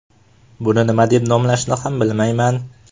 Buni nima deb nomlashni ham bilmayman.